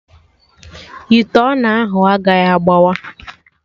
Ite ọna ahụ agaghị agbawa